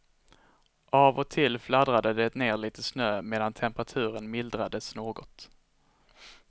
Av och till fladdrade det ner litet snö medan temperaturen mildrades något.